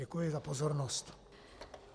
Děkuji za pozornost.